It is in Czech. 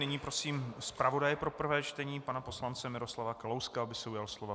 Nyní prosím zpravodaje pro prvé čtení pana poslance Miroslava Kalouska, aby se ujal slova.